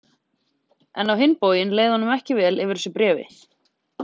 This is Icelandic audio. En á hinn bóginn leið honum ekki vel yfir þessu bréfi.